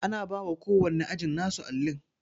Ana bawa ko wanne ajin nasu allin